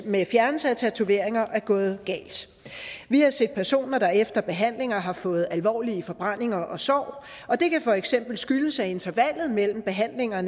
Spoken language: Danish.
med fjernelse af tatoveringer er gået galt vi har set personer der efter behandlinger har fået alvorlige forbrændinger og sår og det kan for eksempel skyldes at intervallet mellem behandlinger er